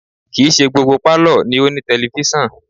Kì í ṣe gbogbo pálọ̀ ni ó ní tẹlifísàn